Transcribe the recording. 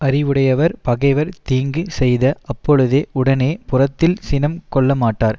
அறிவுடையவர் பகைவர் தீங்கு செய்த அப்பொழுதே உடனே புறத்தில் சினம் கொள்ளமாட்டார்